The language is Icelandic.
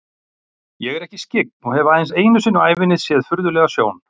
Ég er ekki skyggn og hef aðeins einu sinni á ævinni séð furðulega sjón.